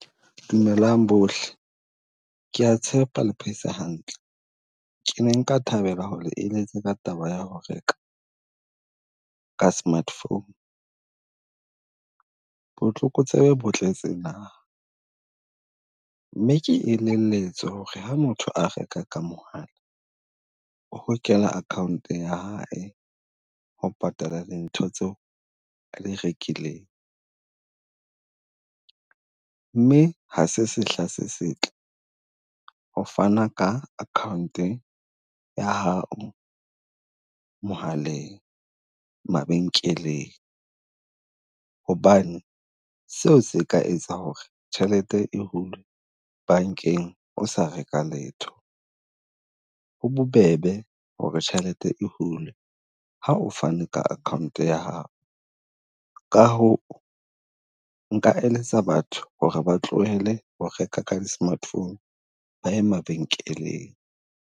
Dumelang bohle Ke a tshepa le phetse hantle? Ke ne nka thabela ho eletsa ka taba ya ho re, ka smart phone. Botlokotsebe botletse naha mme ke e lebelletswe ho re ha motho a reka ka mohala, ho kena account ya hae ho patala dintho tseo di rekileng. Mme ha se sehla se setle, ho fana ka account-e ya hao mohaleng mabenkeleng. Hobane seo se ka etsang ho re tjhelete e hulwe bankeng o sa reka letho, ho bobebe ho re tjhelete e hulwe ha o fane ka account ya hao. Ka hoo, nka eletsa batho ho re ba tlohele ho reka ka di smartphone, ba ye mabenkeleng.